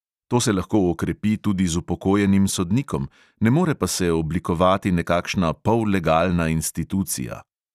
To se lahko okrepi tudi z upokojenim sodnikom, ne more pa se oblikovati nekakšna pollegalna institucija.